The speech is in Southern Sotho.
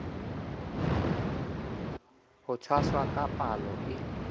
ho tshwasa ka palo e